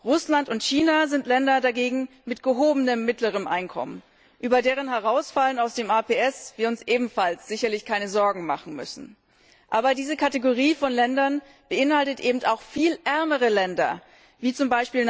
Russland und China sind dagegen Länder mit gehobenem mittleren Einkommen, über deren Herausfallen aus dem APS müssen wir uns ebenfalls sicherlich keine Sorgen machen. Aber diese Kategorie von Ländern beinhaltet eben auch viel ärmere Länder, wie z.